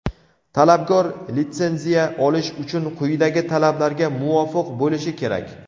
Talabgor litsenziya olish uchun quyidagi talablarga muvofiq bo‘lishi kerak:.